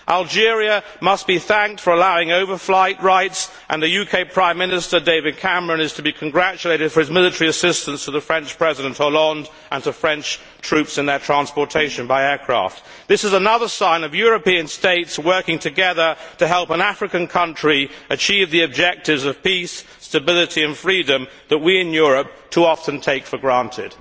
Algeria must be thanked for allowing overflight rights, and the UK Prime Minister, David Cameron, is to be congratulated for his military assistance to French President Hollande and to French troops in their transportation by aircraft. This is another sign of European states working together to help an African country achieve the objectives of peace, stability and freedom that we in Europe too often take for granted.